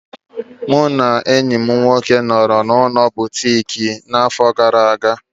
Mụ na enyi m nwoke nọrọ n'ụlọ ulo ezimuike Butiki n'afọ gara aga.